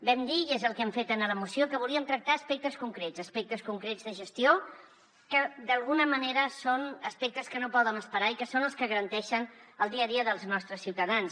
vam dir i és el que hem fet en la moció que volíem tractar aspectes concrets aspectes concrets de gestió que d’alguna manera són aspectes que no poden esperar i que són els que garanteixen el dia a dia dels nostres ciutadans